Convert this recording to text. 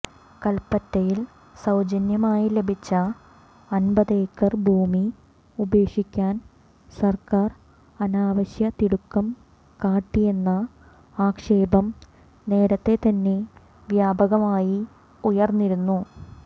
കൽപറ്റയിൽ സൌജന്യമായി ലഭിച്ച അൻപതേക്കർ ഭൂമി ഉപേക്ഷിക്കാൻ സർക്കാർ അനാവശ്യ തിടുക്കം കാട്ടിയെന്ന ആക്ഷേപം നേരത്തെ തന്നെ വ്യാപകമായി ഉയർന്നിരുന്നു